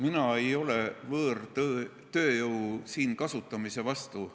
Mina ei ole võõrtööjõu siin kasutamise vastu.